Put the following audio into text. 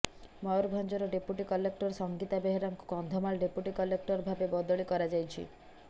ମୟୁରଭଞ୍ଜର deputy collector Sangeeta ବେହେରାଙ୍କୁ Kandhamal deputy collector ଭାବେ ବଦଳି କରାଯାଇଛି